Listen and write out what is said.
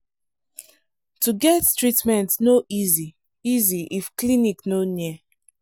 imagine say you need help sharp sharp but clinic dey um very far.